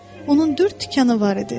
Onun dörd tikanı var idi.